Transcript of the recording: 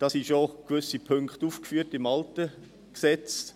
Dabei sind schon gewisse Punkte im alten Gesetz aufgeführt.